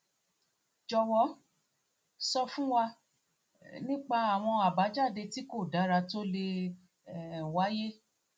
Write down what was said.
jọwọ um sọ um fún wa nípa àwọn àbájáde tí kò dára tó le um wáyé